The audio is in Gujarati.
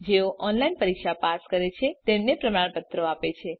જેઓ ઓનલાઈન પરીક્ષા પાસ કરે છે તેમને પ્રમાણપત્રો આપે છે